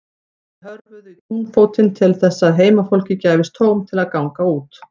Þeir hörfuðu í túnfótinn til þess að heimafólki gæfist tóm til þess að ganga út.